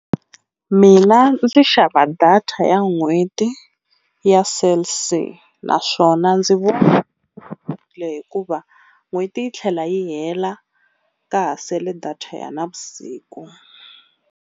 Mina ndzi xava data ya n'hweti ya Cell C, naswona ndzi vilela hikuva n'hweti yi tlhela yi hela ka ha sele data ya navusiku.